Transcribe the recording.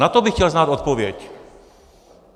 Na to bych chtěl znát odpověď.